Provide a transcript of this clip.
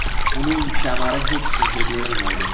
Uning kamari hech kimga berilmaydi.